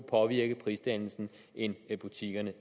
påvirke prisdannelsen end butikkerne